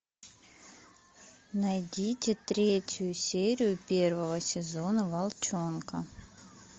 найдите третью серию первого сезона волчонка